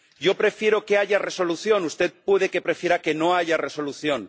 Yo prefiero que haya resolución, usted puede que prefiera que no haya resolución.